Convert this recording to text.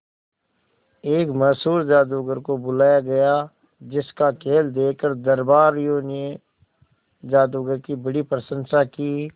एक मशहूर जादूगर को बुलाया गया जिस का खेल देखकर दरबारियों ने जादूगर की बड़ी प्रशंसा की